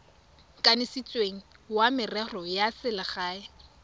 kanisitsweng wa merero ya selegae